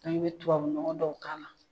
An bɛ tubabunɔgɔ dɔw k'a la